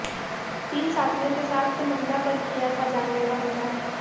तीन साथियों के साथ महिला पर किया था जानलेवा हमला